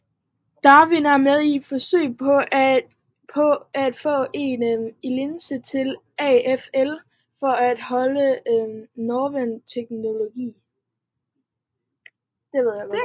Darwin er med i et forsøg på at få en licens til AFL for et hold fra Northern Territory